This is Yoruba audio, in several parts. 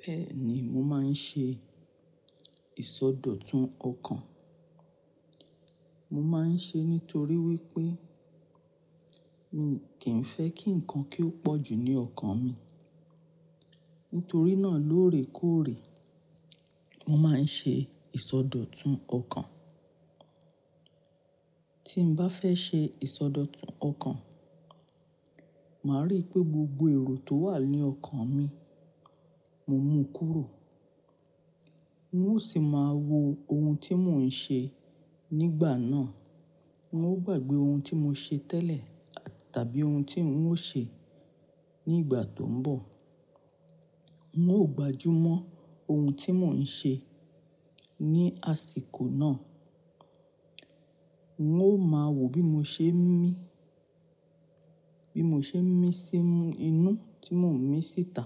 Bẹ́ẹ̀ni, mo máa ń ṣe ìsọdọ̀tun ọkàn. Mo máa ń ṣe é nítorí wípé mi kì ń fẹ́ kí ǹkan kí ó pọ̀ jù ní ọkàn mi. Nítorí náà lóòrèkóòrè, mo máa ń ṣe ìsọdọ̀tun ọkàn. Tí mo bá fẹ́ ṣe ìsọdọ̀tun ọkàn, màá rí pé gbogbo èrò tó wà ní ọkàn mi, mo mú kúrò. N ó sì máa wo ohun tí mò ń ṣe nígbà náà. N ó gbàgbé ohun tí mo ṣe tẹ́lẹ̀ tàbí ohun tí ń ó ṣe ní ìgbà tó ń bọ̀. N ó gbájú mọ́ ohun tí mò ń ṣe ní àsìkò náà. N ó máa wo bí mo ṣe ń mí, bí mo ṣe ń mí sí inú tí mò ń mí síta.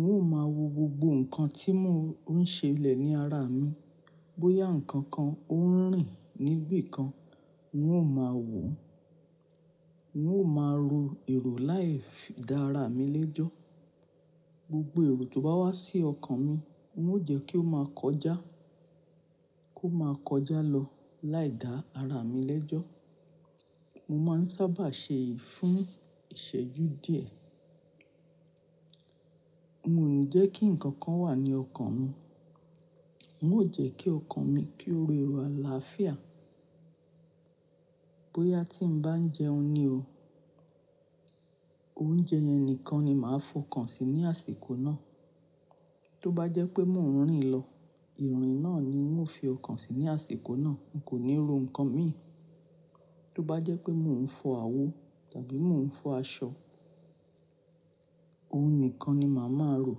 N ó máa wo gbogbo ǹkan tí mò ń ṣe lẹ̀ ní ara mi. Bóyá ǹkan kan ó ń rìn níbí kan, n ó máa wò ó. N ó máa ro èrò láì fi, dá ara mi lẹ́jọ́. Gbogbo èrò tó bá wá sí ọkàn mi, n ó jẹ́ kí ó máa kọjá, kó máa kọjá lọ láì dá ara mi lẹ́jọ́. Mo máa ń sábà ṣe èyí fún ìṣẹ́jú díẹ̀. Mio ní jẹ́ kí ǹkan kan wà ní ọkàn mi. N ó jẹ́ kí ọkàn mi kí ó ro èrò àlàáfíà. Bóyá tí ń bá ń jẹun ni o, oúnjẹ yẹn nìkan ni màá fọkàn sí ní àsìkò náà. Tó bá jẹ́ pé mò ń rìn lọ, ìrìn náà ni n ò fi ọkàn sí ní àsìkò náà, n kò ní ro ǹkan mi. Tó bá jẹ́ pé mò ń fọ àwo tàbí mò ń fọ aṣọ, ohun nìkan ni màá máa rò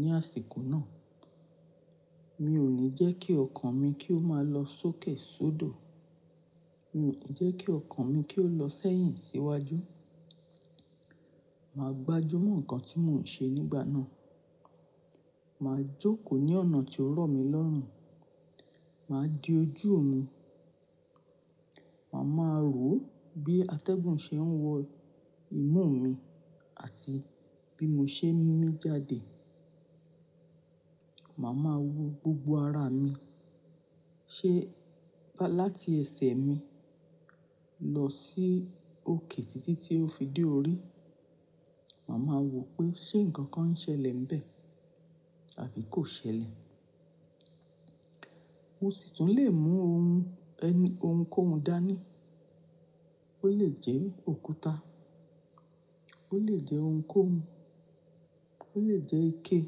ní àsìkò náà. Mi ò ní jẹ́ kí ọkàn mi kí ó máa lọ sókè sódò. Mi ò ní jẹ́ kí ọkàn mi kí ó lọ sẹ́yìn síwájú. Màá gbájú mọ́ ǹkan tí mò ń ṣe nígbà náà. Màá jókòó ní ọ̀nà tí ó rọ̀ mí lọ́rùn. Màá di ojú mi. Màá máa rò ó bí atẹ́gùn ṣe ń wọ imú mi àti bí mo ṣe ń mí jáde. Màá máa wo gbogbo ara mi, ṣé láti ẹsẹ̀ mi lọ sí òkè títí tí ó fi dé orí. Màá máa wo pé ṣé ǹkan kan ń ṣẹlẹ̀ ńbẹ àbí kò ṣẹlẹ̀. Mo sì tún lè mú ohun ẹni, ohun kó hun dání. Ó lè jẹ́ òkúta, ó lè jẹ́ ohun kó hun, ó lè jẹ́ ike.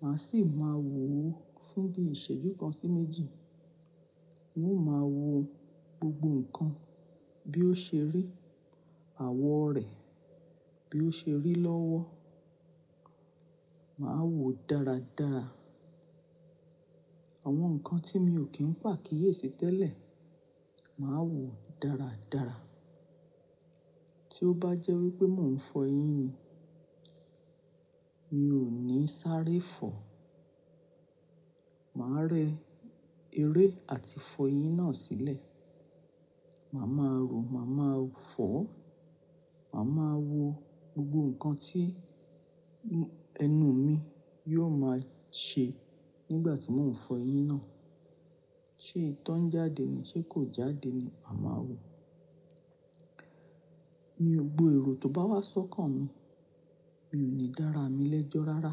Màá sì máa wò ó fún bí ìṣẹ́jú kan sí méjì. N ó máa wo gbogbo ǹkan bí ó ṣe rí àwọ̀ rẹ̀, bí ó ṣe rí lọ́wọ́. Màá wò ó dáradára. Àwọn ǹkan tí mi ò kín pà á kíyèsi tẹ́lẹ̀, màá wò ó dáradára. Tí ó bá jẹ́ wípé mò ń fọ eyín ni, mi ò ní sáré fọ. Màá re eré àti fọ eyín náà sílẹ̀. Màá máa rò ó, màá máa fọ ọ́, màá máa wo gbogbo ǹkan tí ẹnu mi yóò máa ṣe nígbà tí mò ń fọ eyín náà. Ṣé ìtọ́ ń jáde ni, ṣé kò jáde ni? Màá máa wò ó. Mi ò gbo èrò tó bá wá sọ́kàn mi. Mi ò ní dá ara mi lẹ́jọ́ rárá.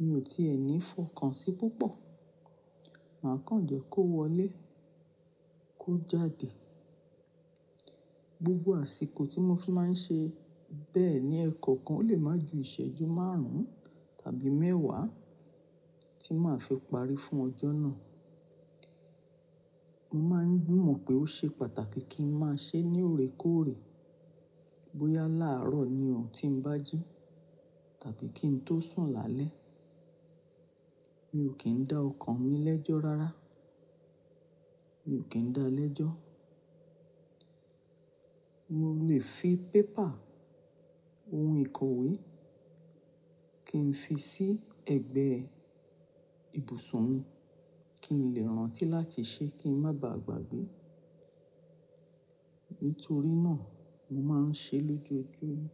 Mi ò tí èní fọkàn sí púpọ̀. Màá kàn jẹ́ kó wọlé, kó jáde. Gbogbo àsìkò tí mo fi máa ń ṣe bẹ́ẹ̀ ni ẹẹ́kọ̀kan lè máa ju ìṣẹ́jú márùn-ún tàbí mẹ́wàá tí màá fi parí fún ọjọ́ náà. Mo máa ń gbìmọ̀ pé ó ṣe pàtàkì kí n máa ṣe é ní òrèkóòrè. Bóyá láàárọ̀ ni ó tí ń bá jí tàbí kí n tó sùn lálẹ́. Mi ò kín dá ọkàn mi lẹ́jọ́ rárá. Mi ò kín dáa lẹ́jọ́. Mo lè fi paper, ohun ìkọ̀wé kí n fi sí ẹ̀gbẹ́ ibùsùn mi kí n lè rántí láti ṣe é kí ń má ba à gbàgbé. Nítorí náà, mo máa ń ṣe é lójoojúmọ́.